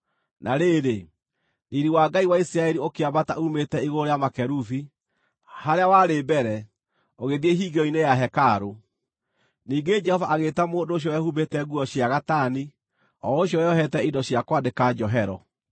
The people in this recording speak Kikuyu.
Na rĩrĩ, riiri wa Ngai wa Isiraeli ũkĩambata uumĩte igũrũ rĩa makerubi, harĩa warĩ mbere, ũgĩthiĩ hingĩro-inĩ ya hekarũ. Ningĩ Jehova agĩĩta mũndũ ũcio wehumbĩte nguo cia gatani, o ũcio weyohete indo cia kwandĩka njohero,